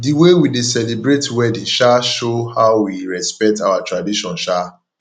the way we dey celebrate wedding um show how we respect our tradition um